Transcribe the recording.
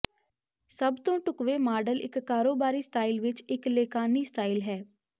ਸਭ ਤੋਂ ਢੁਕਵੇਂ ਮਾਡਲ ਇੱਕ ਕਾਰੋਬਾਰੀ ਸਟਾਈਲ ਵਿੱਚ ਇੱਕ ਲੈਕਾਨੀ ਸਟਾਈਲ ਹੈ